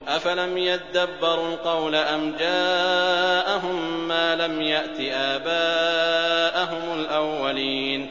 أَفَلَمْ يَدَّبَّرُوا الْقَوْلَ أَمْ جَاءَهُم مَّا لَمْ يَأْتِ آبَاءَهُمُ الْأَوَّلِينَ